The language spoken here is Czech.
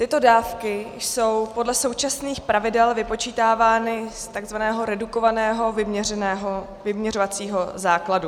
Tyto dávky jsou podle současných pravidel vypočítávány z takzvaného redukovaného vyměřovacího základu.